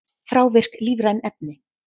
Þrávirk lífræn efni